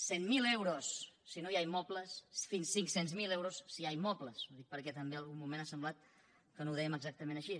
cent mil euros si no hi ha immobles fins a cinc cents miler euros si hi ha immobles ho dic també perquè en algun moment ha semblat que no ho dèiem exactament així